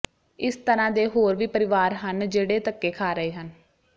ਇਸ ਤਰ੍ਹਾਂ ਦੇ ਹੋਰ ਵੀ ਪਰਿਵਾਰ ਹਨ ਜਿਹੜੇ ਧੱਕੇ ਖਾ ਰਹੇ ਹਨ